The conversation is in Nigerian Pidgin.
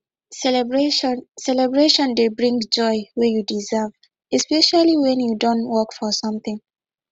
celebration celebration dey bring joy wey you deserve especially when you don work for something